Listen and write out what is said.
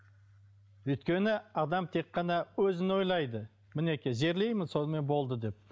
өйткені адам тек қана өзін ойлайды мінекей жерлеймін сонымен болды деп